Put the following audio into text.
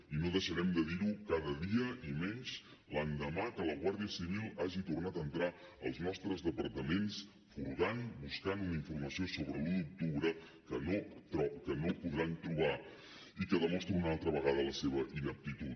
i no deixarem de dir ho cada dia i menys l’endemà que la guàrdia civil hagi tornat a entrar als nostres departaments furgant buscant una informació sobre l’un d’octubre que no podran trobar i que demostra una altra vegada la seva ineptitud